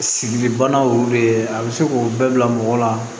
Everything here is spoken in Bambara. Sigili banaw be ye a be se k'o bɛɛ bila mɔgɔ la